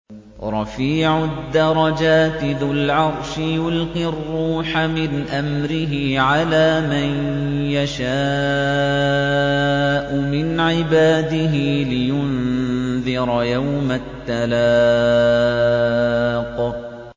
رَفِيعُ الدَّرَجَاتِ ذُو الْعَرْشِ يُلْقِي الرُّوحَ مِنْ أَمْرِهِ عَلَىٰ مَن يَشَاءُ مِنْ عِبَادِهِ لِيُنذِرَ يَوْمَ التَّلَاقِ